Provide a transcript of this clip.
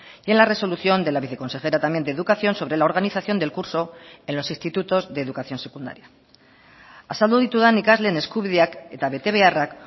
y en la resolución de la viceconsejera también de educación sobre la organización del curso en los institutos de educación secundaria azaldu ditudan ikasleen eskubideak eta betebeharrak